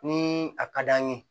Ni a ka d'an ye